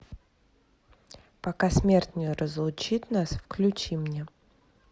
пока смерть не разлучит нас включи мне